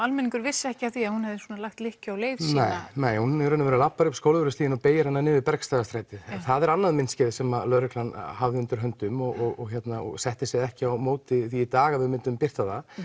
almenningur vissi ekki af því að hún hafi lagt lykkju á leið sína nei hún í raun og veru labbar upp Skólavörðustíginn og beygir niður Bergstaðastrætið en það er annað myndskeið sem lögreglan hafði undir höndum og setti sig ekki á móti því í dag að við myndum birta það